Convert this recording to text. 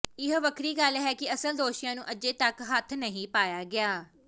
ਇਹ ਵੱਖਰੀ ਗੱਲ ਹੈ ਕਿ ਅਸਲ ਦੋਸ਼ੀਆਂ ਨੂੰ ਅਜੇ ਤੱਕ ਹੱਥ ਨਹੀਂ ਪਾਇਆ ਗਿਆ